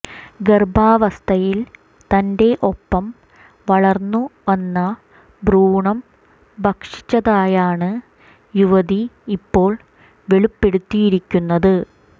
ഗർഭാവസ്ഥയിൽ തന്റെ ഒപ്പം വള്ർന്നു വന്ന ഭ്രൂണം ഭക്ഷിച്ചതായാണ് യുവതി ഇപ്പോൾ വെളിപ്പെടുത്തിരിയിരിക്കുന്നത്